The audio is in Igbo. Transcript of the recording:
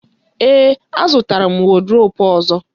Ee, azụtara m wọdrobu ọzọ.